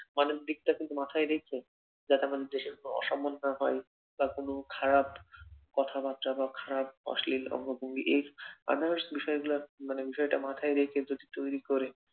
মানের দিকটা মাথায় রেখে যাতে আমাদের দেশের অসম্মান না হয় বা কোনো খারাপ কথাবার্তা বা অশ্লীল অঙ্গভঙ্গি এই others বিষয়গুলার মানে বিষয়টা মাথায় রেখে যদি তৈরী করে